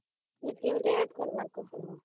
ଏତିକି add କରିବାର କଥା